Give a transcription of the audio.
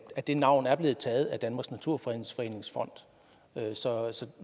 det navn er blevet taget af danmarks naturfredningsforenings fond så